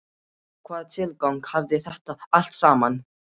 Hvaða tilgang hafði þetta allt saman?